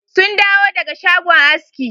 Sun dawo daga shagon aski.